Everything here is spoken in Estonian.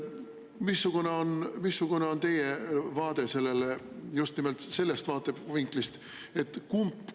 Missugune on teie vaade sellele just nimelt sellest vaatevinklist?